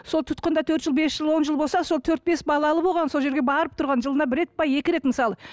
сол тұтқында төрт жыл бес жыл он жыл болса сол төрт бес балалы болған сол жерге барып тұрған жылына бір рет пе екі рет мысалы